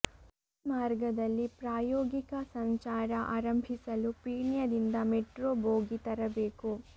ಈ ಮಾರ್ಗದಲ್ಲಿ ಪ್ರಾಯೋಗಿಕ ಸಂಚಾರ ಆರಂಭಿಲು ಪೀಣ್ಯದಿಂದ ಮೆಟ್ರೋ ಬೋಗಿ ತರಬೇಕು